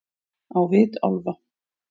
Á vit álfa-